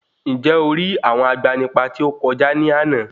Ǹjẹ̀ o rí àwọn agbanipa tí ó kọjá ní àná?